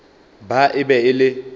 ba e be e le